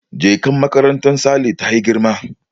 Jakar makarantar Saleh ta yi girma